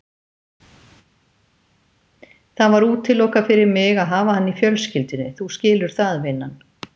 Það var útilokað fyrir mig að hafa hann í fjölskyldunni, þú skilur það, vinan.